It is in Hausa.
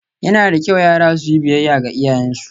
Yana da kyau yara su yi biyayya ga iyayensu